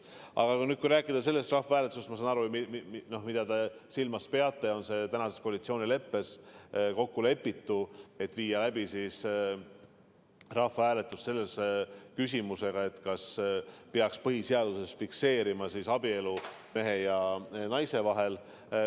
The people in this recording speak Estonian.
Aga kui rääkida sellest rahvahääletusest – ma saan aru, mida te silmas peate –, siis tänases koalitsioonileppes on kokku lepitud viia läbi rahvahääletus küsimusega, kas peaks põhiseaduses fikseerima, et abielu on ainult mehe ja naise vahel.